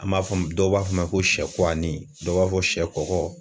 An b'a fɔ a ma dɔw b'a fɔ a ma ko sɛ kuwanin dɔw b'a fɔ sɛ kɔkɔ